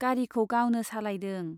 गारिखौ गावनो सालायदों।